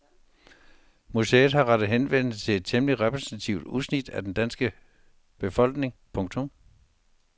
Museet har rettet henvendelse til et temmelig repræsentativt udsnit af den danske befolkning. punktum